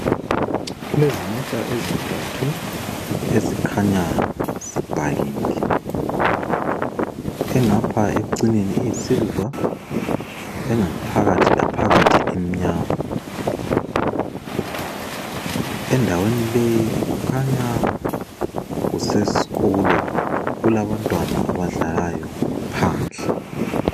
Kulezimota ezintathu ezikhanya zipakile. Engapha ekucineni iyisiliva engaphakathi laphakathi imnyama. Endaweni leyi kukhanya kusesikolo kulabantwana abadlalayo phandle.